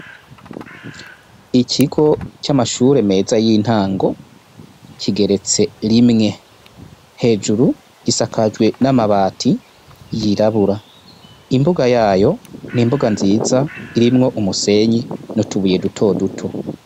Ikigo c'amashure meza y'intango kigeretse rimwe hejuru gisakajwe n'amabati yirabura, imbuga yayo ni imbuga nziza irimwo umusenyi n'utubuye duto duto.